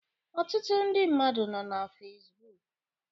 Ọtụtụ ndị mmadụ nọ na Fesbụụk